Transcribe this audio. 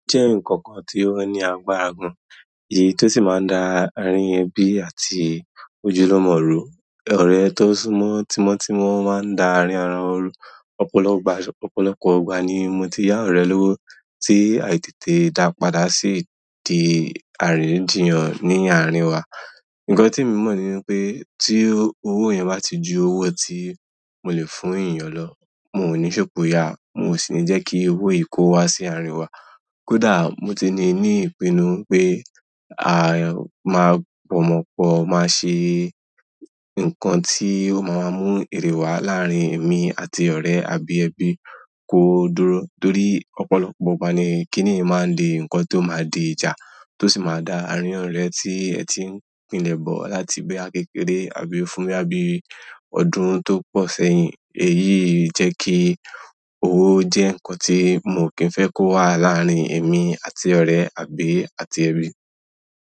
O je nkankan ti o ni agbára gan èyí ti o si maa n da arin ebi àti ojulumo ru ọ̀rẹ́ tó sún mọ́ tímọ́ tímọ́ máa ń da àárín ara won ru. Ọ̀pọ̀lọpọ̀ ìgbà ni mo ti yá àwọn ọ̀rẹ́ lowo tí àìtètè dàá padà sí dí àríyànjiyàn ní àárín wa. Nǹkan tí mo mọ̀ ni wipé tí owó yẹn bá ti ju owó tí mo lè fún èèyàn lọ, mi ò ní ṣopo ya, mi o sì ní jẹ́ kí owó yìí kó wá sí àárín wa. Kódà mo ti ní ní ìpinnu pé a máa bọ̀ mọ́ pọ̀, máa se nǹkan tí ó máa mú èrè wá láàárín èmi àti ọ̀rẹ́ àbí ẹbi kó dúró. Nítorí ọ̀pọ̀lọpọ̀ ìgbà ni kínì yí máa ń di nǹkan tí ó máa di ìjà, tó sì máa da àárín ọ̀rẹ́ tí ẹ ti pínlẹ̀ bọ̀ láti boya kekèré àbí fún boya bí ọdún tó pọ̀ sẹ́yìn. Èyíi jẹ́ kí owó jẹ́ nǹkan tí mo kì n fẹ́ kó wà láàárín èmi àti ọ̀rẹ́ àbí àti ẹbí.